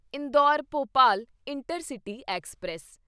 Indore Bhopal intercity express